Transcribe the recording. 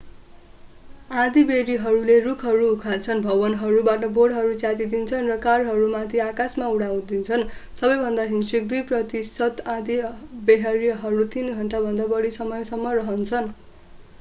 आँधीबेहरीहरूले रूखहरू उखाल्छन् भवनहरूबाट बोर्डहरू च्यातिदिन्छन् र कारहरूलाई माथि आकाशमा उडाउँदछन् सबैभन्दा हिंस्रक दुई प्रतिशत आँधीबेहरीहरू तीन घण्टा भन्दा बढी समयसम्म रहन्छन्